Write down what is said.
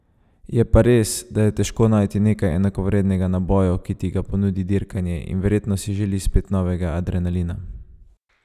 Je pa res, da je težko najti nekaj enakovrednega naboju, ki ti ga ponudi dirkanje, in verjetno si želi spet novega adrenalina.